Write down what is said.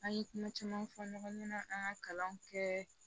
An ye kuma caman fɔ ɲɔgɔn ɲɛna an ŋa kalanw kɛ